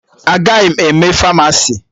Agaghị m eme Famasi